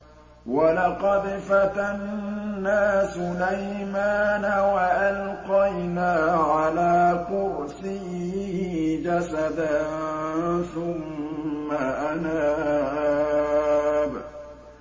وَلَقَدْ فَتَنَّا سُلَيْمَانَ وَأَلْقَيْنَا عَلَىٰ كُرْسِيِّهِ جَسَدًا ثُمَّ أَنَابَ